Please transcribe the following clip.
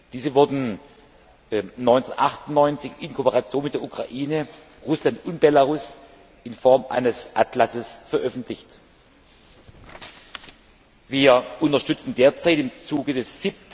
Diese wurden 1998 in Kooperation mit der Ukraine, Russland und Belarus in Form eines Atlasses veröffentlicht. Wir unterstützen derzeit im Zuge des